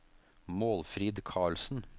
Målfrid Carlsen